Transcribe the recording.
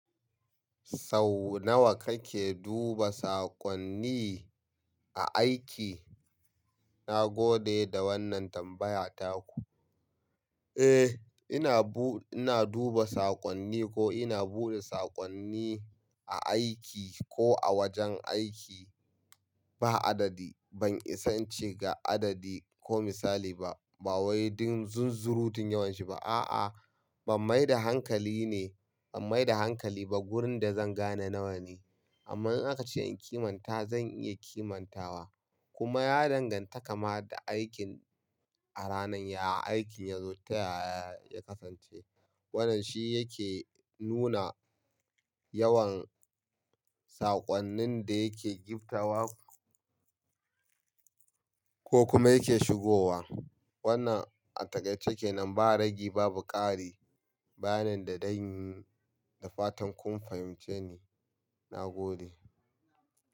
Sau nawa kake duba saƙonni a aiki? Na gode da wannan tambaya taku. Eh, ina bu-- ina duba saƙonni ko ina buɗe saƙonni a aiki ko a wajen aiki ba adadi. Ban isa ince ga adadi ko misali ba, ba wai don zunzurutun yawanshi ba. A'a, ban mai da hankali ne, ban mai da hankali ba. Gurin da zan gane nawa ne. Amma in aka ce in kimanta, zan iya kimantawa. Kuma ya danganta kama da aikin a ranan ya-- aikin yazo ta yaya ya kasance. Wannan shi yake nuna yawan saƙonnin da yake giftawa ko kuma yake shigowa. Wannan a takaice kenan ba ragi, babu ƙari, bayanin da zan yi da fatan kun fahimce ni. Na gode.